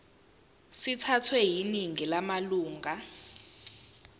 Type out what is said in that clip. sithathwe yiningi lamalunga